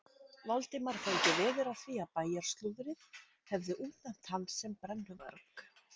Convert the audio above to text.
Valdimar fengi veður af því að bæjarslúðrið hefði útnefnt hann sem brennuvarg.